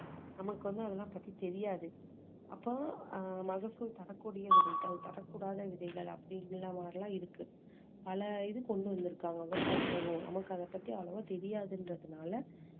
நமக்கு வந்து அதெல்லாம் பத்தி தெரியாது அப்போ ஆஹ் மகசூல் தரக்கூடிய விதைகள் தரக்கூடாத விதைகள் அப்படீங்கற மாதிரி எல்லாம் இருக்கு பல இது கொண்டு வந்துருக்காங்க விவசாயத்துல நமக்கு அதை பத்தி அவ்ளோவா தெரியாதுன்றதுனால